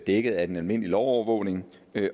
dækket af den almindelige lovovervågning